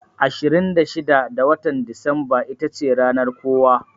Ashirin da shida da watan Disamba itace ranar kokawa.